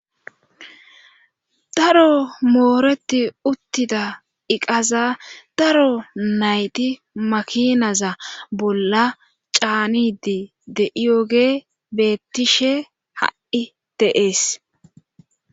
Daro mooreti uttida iqaza daro nayti makinaza bolla caanidi de7iyoge beettishe ha7i deees.